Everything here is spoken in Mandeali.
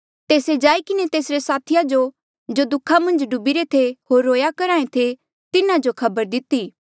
तेस्से जाई किन्हें तेसरे साथिया जो जो दुःखा मन्झ डूबीरे थे होर रोया करहा ऐें थे तिन्हा जो खबर दिती